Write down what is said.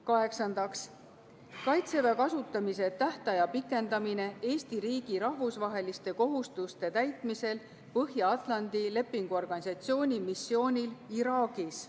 Kaheksandaks, Kaitseväe kasutamise tähtaja pikendamine Eesti riigi rahvusvaheliste kohustuste täitmisel Põhja-Atlandi Lepingu Organisatsiooni missioonil Iraagis.